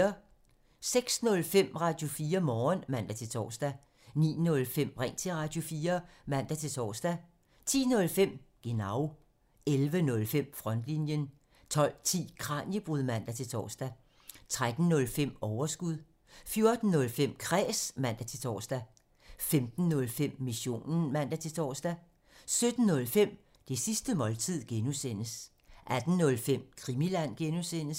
06:05: Radio4 Morgen (man-tor) 09:05: Ring til Radio4 (man-tor) 10:05: Genau 11:05: Frontlinjen 12:10: Kraniebrud (man-tor) 13:05: Overskud 14:05: Kræs (man-tor) 15:05: Missionen (man-tor) 17:05: Det sidste måltid (G) 18:05: Krimiland (G)